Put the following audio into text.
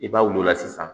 I b'a wulila sisan